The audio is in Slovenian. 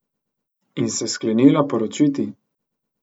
In se sklenila poročiti.